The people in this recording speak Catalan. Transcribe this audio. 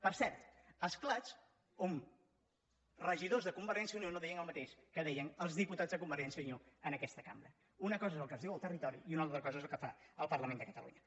per cert esclats on regidors de convergència i unió no deien el mateix que deien els diputats de convergència i unió en aquesta cambra una cosa és el que es diu al territori i una altra cosa és el que fa el parlament de catalunya